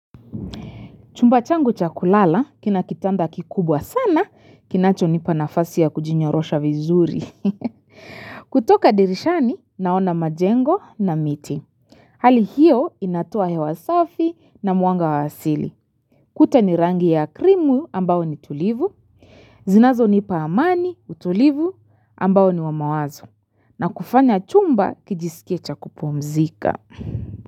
Chumba changu cha kulala, kina kitanda kikubwa sana, kinachonipa nafasi ya kujinyorosha vizuri. Kutoka dirishani, naona majengo na miti. Hali hiyo, inatoa hewa safi na muanga wa asili. Kuta ni rangi ya krimu ambao ni tulivu. Zinazonipa amani utulivu ambao niwamawazo. Na kufanya chumba kijisikie cha kupumzika.